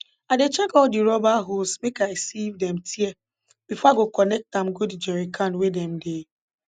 i dey check all de rubber hose make i see if dem tear before i go connect am go d jerry can wey dem dey